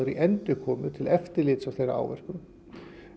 í endurkomur til eftirlits á þeirra áverkum